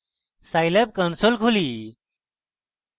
scilab console খুলি